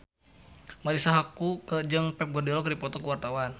Marisa Haque jeung Pep Guardiola keur dipoto ku wartawan